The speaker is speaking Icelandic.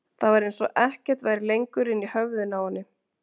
Það var eins og ekkert væri lengur inni í höfðinu á henni.